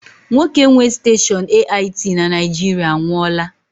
Nwoke nwe steshọọnu AIT na Naijiriia anwụọla